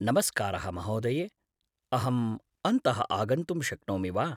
नमस्कारः महोदये! अहं अन्तः आगन्तुं शक्नोमि वा?